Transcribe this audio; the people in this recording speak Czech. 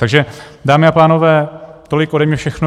Takže dámy a pánové, tolik ode mne všechno.